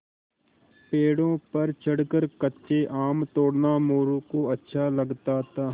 पेड़ों पर चढ़कर कच्चे आम तोड़ना मोरू को अच्छा लगता था